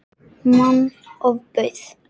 Manni ofbauð.